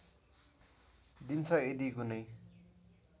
दिन्छ यदि कुनै